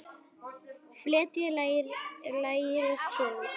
Fletjið lærið svo út.